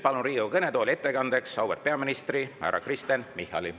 Palun Riigikogu kõnetooli ettekandeks auväärt peaministri härra Kristen Michali.